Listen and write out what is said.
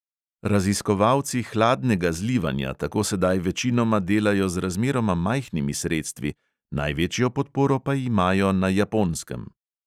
Raziskovalci hladnega zlivanja tako sedaj večinoma delajo z razmeroma majhnimi sredstvi, največjo podporo pa imajo na japonskem.